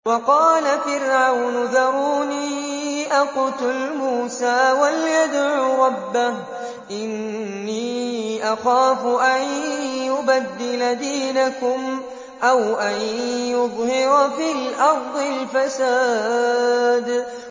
وَقَالَ فِرْعَوْنُ ذَرُونِي أَقْتُلْ مُوسَىٰ وَلْيَدْعُ رَبَّهُ ۖ إِنِّي أَخَافُ أَن يُبَدِّلَ دِينَكُمْ أَوْ أَن يُظْهِرَ فِي الْأَرْضِ الْفَسَادَ